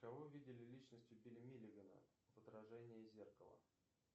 кого видели личностью билли миллигана в отражении зеркала